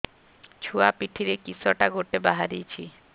ଛୁଆ ପିଠିରେ କିଶଟା ଗୋଟେ ବାହାରିଛି